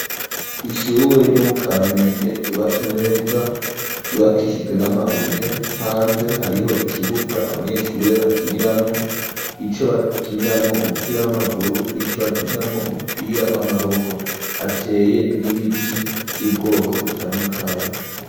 Ishure ryo mu kamenge ryubatswe neza ryubakishijwe n'amabuye hanze hariho ikibuga abanyeshure bakiniramwo, ico bakiniramwo umupira w'amaguru n'ico bakiniramwo umupira w'amaboko hateye n'ibiti vy'ubwoko butandukanye.